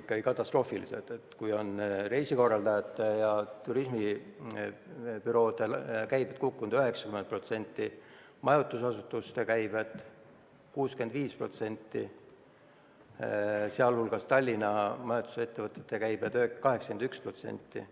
ikkagi katastroofiline: reisikorraldajate ja turismibüroode käive on kukkunud 90%, majutusasutuste käive 65%, sh Tallinna majutusettevõtete käive 81%.